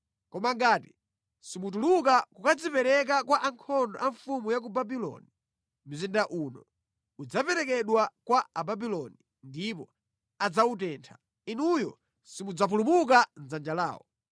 Koma ngati simutuluka kukadzipereka kwa ankhondo a mfumu ya ku Babuloni, mzinda uno udzaperekedwa kwa Ababuloni ndipo adzawutentha; inuyo simudzapulumuka mʼdzanja mwawo.’ ”